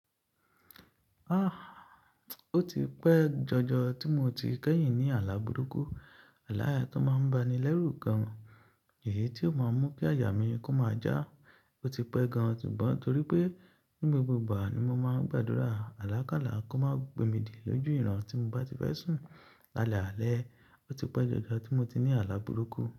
Ah! Ó ti pẹ́ jọjọ tí mo ti kẹ́hìn ni àlá burúkú. Àlá yẹn tó máa ń bá ni lẹ́rù gan. Èyí tí ó máa mu kí aya mi kó máa ja. Ó ti pẹ́ gan, ṣùgbọ́n torí pe ní gbogbo ìgbà ni mo máa ń gbàdúrà alakala kó má gbé mi dé lójú ìran tí mo bá ti fẹ́ sùn. Lálẹ́ alẹ́, o ti pẹ́ jọjọ tí mo ti ni àlá burúkú.